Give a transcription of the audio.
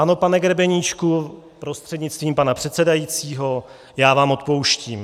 Ano, pane Grebeníčku prostřednictvím pana předsedajícího, já vám odpouštím.